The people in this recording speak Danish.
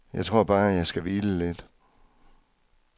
Jeg tror bare jeg skal hvile lidt.